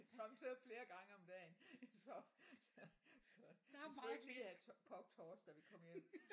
Sommetider flere gange om dagen så så så vi skulle ikke lige have kogt torsk da vi kom hjem